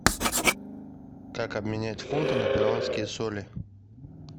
как обменять фунты на перуанские соли